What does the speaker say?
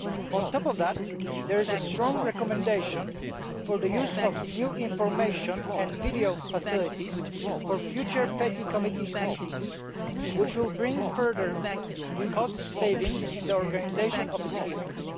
On top of that, there is a strong recommendation for the use of new information and video facilities for future PETI Committee meetings which will bring further cost savings in the organisation of its hearings.